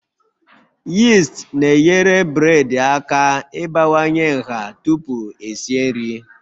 Yist na-enyere bred aka ịbawanye nha tupu esi nri